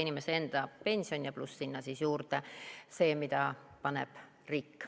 Piisab inimese enda pensionist ja pluss see, mida paneb riik.